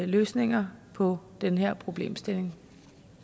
løsninger på den her problemstilling